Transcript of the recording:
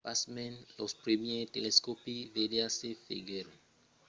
pasmens los primièrs telescòpis vertadièrs foguèron faches en euròpa a la fin del sègle xvi